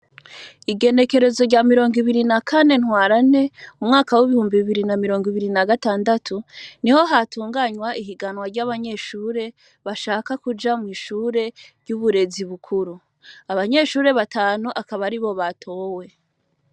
Igenekerezo rya mirongo ibiri na kane ntwarante u mwaka w'ibihumbi ibiri na mirongo ibiri na gatandatu ni ho hatunganywa ihiganwa ry'abanyeshure bashaka kuja mw'ishure ry'uburezi bukuru abanyeshure batanu akaba ari bo batowe.